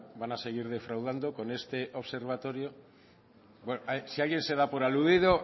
van a seguir defraudando con este observatorio bueno si alguien se da por aludido